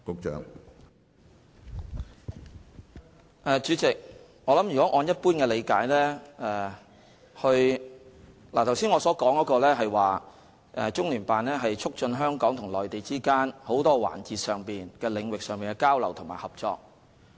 主席，如果按一般理解來......我剛才所說的是，中聯辦的職能是，促進香港與內地之間在眾多環節、領域上的交流和合作。